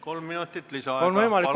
Kolm minutit lisaaega.